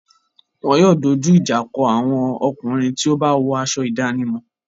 Wọn yóò dojú ìjà kọ àwọn ọkùnrin tí ó bá wọ aṣọ ìdánimọ̀.